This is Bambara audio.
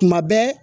Tuma bɛɛ